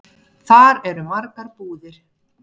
Þar eru margar búðir.